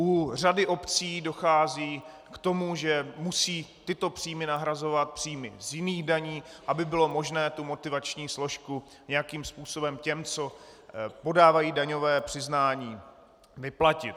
U řady obcí dochází k tomu, že musí tyto příjmy nahrazovat příjmy z jiných daní, aby bylo možné tu motivační složku nějakým způsobem těm, co podávají daňové přiznání, vyplatit.